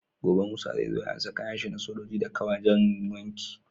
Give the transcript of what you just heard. Gobe musa zai anso kayan shi na sojoji da ka wajan wanki